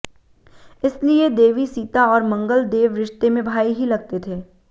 इसलिए देवी सीता और मंगल देव रिश्ते में भाई ही लगते थे